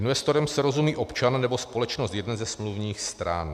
Investorem se rozumí občan nebo společnost jedné ze smluvních stran.